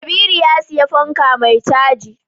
Kabiru ya siya fanka mai caji